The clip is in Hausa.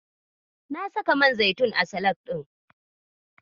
Na saka man zaitun a salak ɗin.